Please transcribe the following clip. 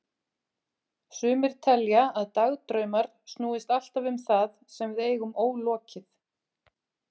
Sumir telja að dagdraumar snúist alltaf um það sem við eigum ólokið.